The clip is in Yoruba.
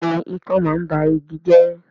Bẹ́ẹ̀ni ikán máa ń ba igi jẹ́